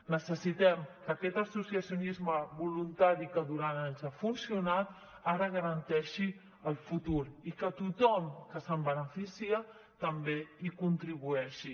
necessitem que aquest associacionisme voluntari que durant anys ha funcionat ara garanteixi el futur i que tothom que se’n beneficia també hi contribueixi